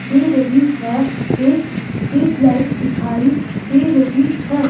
दे रही है एक स्ट्रीट लाइट दिखाई दे रही है।